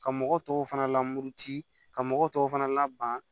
Ka mɔgɔ tɔw fana lamuru ci ka mɔgɔw tɔw fana lab